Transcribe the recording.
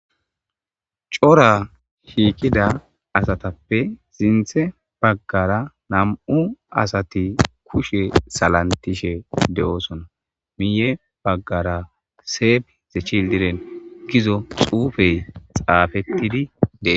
Cora shiiqida asatappe zinthe baggara nam'u asati kushe salantishe de'oosona miye baggara seef zechi diren gizo xuufey xaafettidi dee